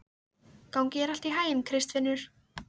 Gangi þér allt í haginn, Kristfinnur.